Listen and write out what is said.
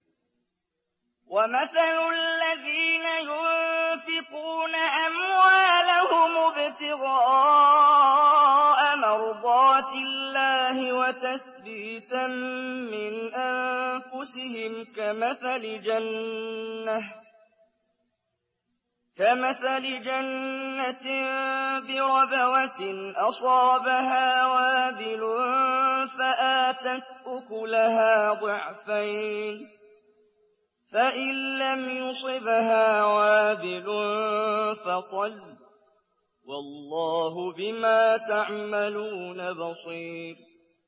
وَمَثَلُ الَّذِينَ يُنفِقُونَ أَمْوَالَهُمُ ابْتِغَاءَ مَرْضَاتِ اللَّهِ وَتَثْبِيتًا مِّنْ أَنفُسِهِمْ كَمَثَلِ جَنَّةٍ بِرَبْوَةٍ أَصَابَهَا وَابِلٌ فَآتَتْ أُكُلَهَا ضِعْفَيْنِ فَإِن لَّمْ يُصِبْهَا وَابِلٌ فَطَلٌّ ۗ وَاللَّهُ بِمَا تَعْمَلُونَ بَصِيرٌ